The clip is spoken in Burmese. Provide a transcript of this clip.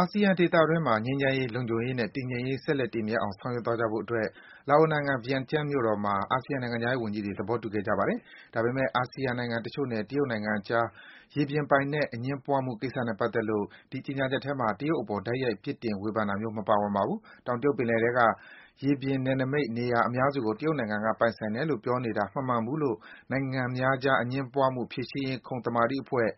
အာဆီယံဒေသတွင်းမှာ ငြိမ်းချမ်းရေး၊ လုံခြုံရေးနဲ့ တည်ငြိမ်ရေး ဆက်လက် တည်မြဲအောင် ဆောင်ရွက်သွားကြဖို့အတွက် လာအိုနိုင်ငံ Vientiane မြို့တော်မှာ အာဆီယံ နိုင်ငံခြားရေးဝန်ကြီးတွေ သဘောတူခဲ့ကြပါတယ်။ ဒါပေမဲ့ အာဆီယံနိုင်ငံတချို့နဲ့ တရုတ်နိုင်ငံကြား ရေပြင်ပိုင်နက် အငြင်းပွားမှု ကိစ္စနဲ့ ပါတ်သက်လို့ ဒီကြေညာချက်ထဲမှာ တရုတ်အပေါ် တိုက်ရိုက် ပြစ်တင်ဝေဖန်တာမျိုး မပါဝင်ပါဘူး။ တောင်တရုတ်ပင်လယ်ထဲက ရေပြင်နယ်နိမိတ် နေရာအများစုကို တရုတ်နိုင်ငံက ပိုင်ဆိုင်တယ်လို့ ပြောနေတာ မမှန်ဘူးလို့ နိုင်ငံများကြား အငြင်းပွားမှု ဖြေရှင်းရေး ခုံသမာဓိအဖွဲ့